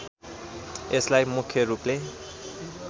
यसलाई मुख्य रूपले